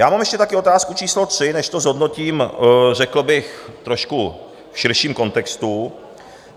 Já mám ještě také otázku číslo tři, než to zhodnotím, řekl bych trošku v širším kontextu.